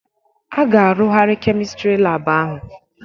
A ga-arụgharị Kemistri laabụ ahụ.